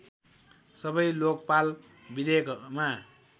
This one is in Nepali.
सबै लोकपाल विधेयकमा